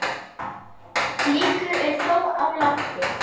Blikur eru þó á lofti.